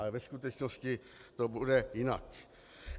Ale ve skutečnosti to bude jinak.